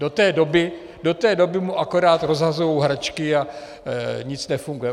Do té doby mu akorát rozhazují hračky a nic nefunguje.